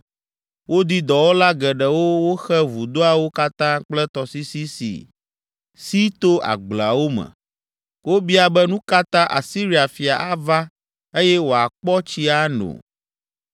Wodi dɔwɔla geɖewo woxe vudoawo katã kple tɔsisi si si to agblewo me. Wobia be, “Nu ka ta Asiria fia ava eye wòakpɔ tsi ano?”